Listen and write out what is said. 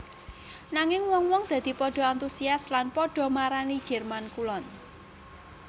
Nanging wong wong dadi padha antusias lan padha marani Jerman Kulon